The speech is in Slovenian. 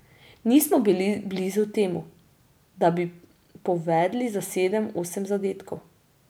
Nismo bili blizu temu, da bi povedli za sedem, osem zadetkov.